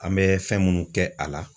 An bɛ fɛn minnu kɛ a la